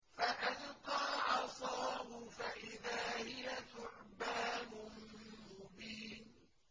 فَأَلْقَىٰ عَصَاهُ فَإِذَا هِيَ ثُعْبَانٌ مُّبِينٌ